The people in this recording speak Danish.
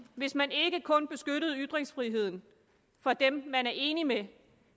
hvis man ikke kun beskyttede ytringsfriheden for dem man er enig med